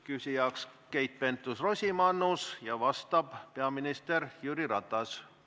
Küsija on Keit Pentus-Rosimannus, vastab peaminister Jüri Ratas.